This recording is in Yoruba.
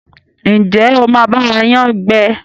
Njé o má ba wa yán gbé?